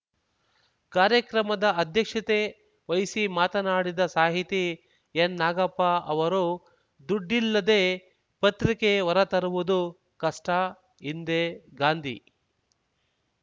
ಕಾರ್ಯಕ್ರಮದ ಅಧ್ಯಕ್ಷತೆ ವಹಿಸಿ ಮಾತನಾಡಿದ ಸಾಹಿತಿ ಎನ್ನಾಗಪ್ಪ ಅವರು ದುಡ್ಡಿಲ್ಲದೆ ಪತ್ರಿಕೆ ಹೊರ ತರುವುದು ಕಷ್ಟ ಹಿಂದೆ ಗಾಂಧಿ